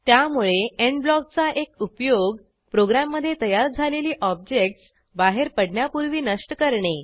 त्यामुळे एंड ब्लॉकचा एक उपयोग प्रोग्रॅममधे तयार झालेली ऑब्जेक्टस् बाहेर पडण्यापूर्वी नष्ट करणे